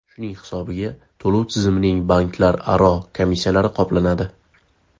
Shuning hisobiga to‘lov tizimining banklararo komissiyalari qoplanadi.